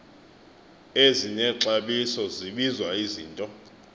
ezinexabiso zibizwa izinto